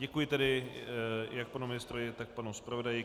Děkuji tedy jak panu ministrovi, tak panu zpravodaji.